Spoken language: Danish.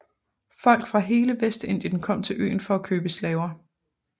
Folk fra hele Vestindien kom til øen for at købe slaver